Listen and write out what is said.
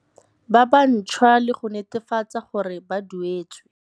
Ba bantšhwa le go netefatsa gore ba duetswe.